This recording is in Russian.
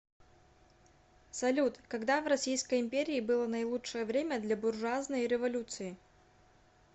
салют когда в российской империи было наилучшее время для буржуазной революции